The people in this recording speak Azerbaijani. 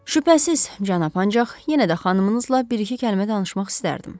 Şübhəsiz, cənab, ancaq yenə də xanımınızla bir-iki kəlmə danışmaq istərdim.